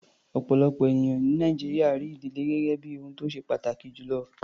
Ọ̀pọ̀lọpọ̀ ènìyàn ní Nàìjíríà rí ìdílé gẹ́gẹ́ bí ohun tó ṣe pàtàkì jù lọ.